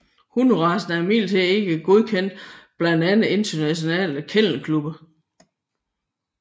Hunderacen er imidlertid ikke anerkendt blandt andre internationale kennelklubber